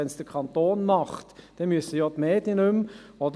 Wenn es der Kanton macht, müssen ja die Medien nicht mehr.